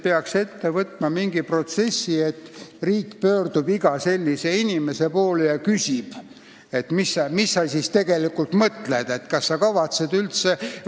Peaks ette võtma sellise protsessi, et riik pöördub iga sellise inimese poole ja küsib, mis ta siis tegelikult mõtleb, kas ta üldse kavatseb hääletada.